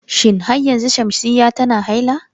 Shin har yanzu Shamsiyya tana haila?